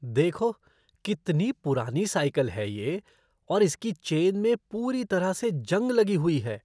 देखो, कितनी पुरानी साइकिल है ये और इसकी चेन में पूरी तरह से जंग लगी हुई है।